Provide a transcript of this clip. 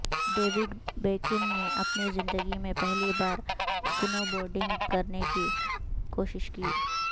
David Beckham نے اپنی زندگی میں پہلی بار سنو بورڈنگ کرنے کی کوشش کی